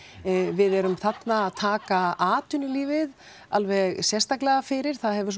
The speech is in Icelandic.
við erum þarna að taka atvinnulífið alveg sérstaklega fyrir það hefur